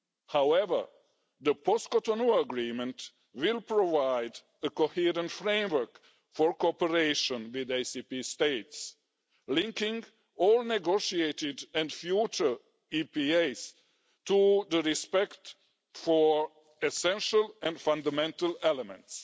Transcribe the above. However, the post-Cotonou Agreement will provide a coherent framework for cooperation with ACP States, linking all negotiated and future EPAs to respect for essential and fundamental elements.